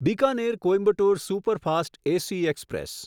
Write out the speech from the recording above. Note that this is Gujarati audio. Bikaner Coimbatore superfast AC express